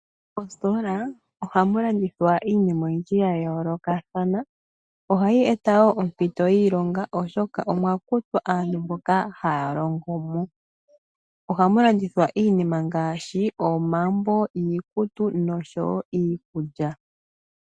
Mositola ohamu landithwa iinima oyindy yayoolokathana. Ohayi eta woo ompito yiilonga oshoka omwa kutwa aantu mboka haya longo mo . Ohamu landithwa iinima ngaashi omambo, iikutu nosho woo iikulya.